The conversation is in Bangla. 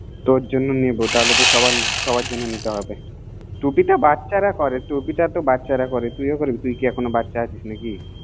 তোর জন্য নিবোতাহলে তো সাবার জন্য নিতে হবেটুপি তো বাচ্চারা পরে তুই ও পরিব তোর জন্য কি এখনো বাচ্চা আছিস না কি